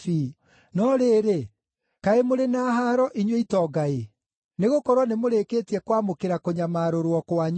“No rĩrĩ, kaĩ mũrĩ na haaro inyuĩ itonga-ĩ, nĩgũkorwo nĩmũrĩkĩtie kwamũkĩra kũnyamarũrwo kwanyu.